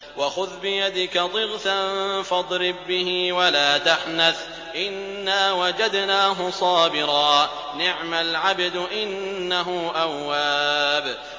وَخُذْ بِيَدِكَ ضِغْثًا فَاضْرِب بِّهِ وَلَا تَحْنَثْ ۗ إِنَّا وَجَدْنَاهُ صَابِرًا ۚ نِّعْمَ الْعَبْدُ ۖ إِنَّهُ أَوَّابٌ